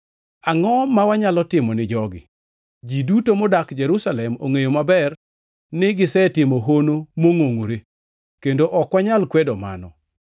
“Angʼo ma wanyalo timo ni jogi? Ji duto modak Jerusalem ongʼeyo maber ni gisetimo hono mongʼongʼore, kendo ok wanyal kwedo mano.